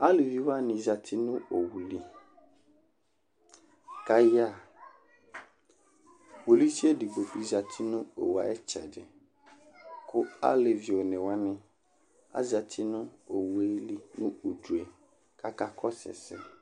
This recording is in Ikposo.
aluvi wʋani zati nu owu li, ka ayaɣa , polisie edigbo bi zati nu Owue ayi itsɛdi, ku alevi one wʋani azati nu Owue li nu udue ku aka kɔsu ɛsɛ